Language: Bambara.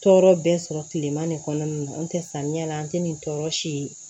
Tɔɔrɔ bɛ sɔrɔ kilema nin kɔnɔna na n tɛ samiya la an tɛ nin tɔɔrɔ si